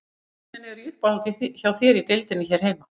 Hvaða leikmenn eru í uppáhaldi hjá þér í deildinni hér heima?